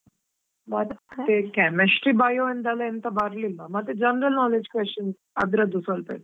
, Chemistry, bio ಇಂದ ಎಲ್ಲಾ ಎಂತಾ ಬರ್ಲಿಲ್ಲಾ, ಮತ್ತೆ general knowledge questions ಅದ್ರದ್ದು ಸ್ವಲ್ಪ ಇತ್ತು.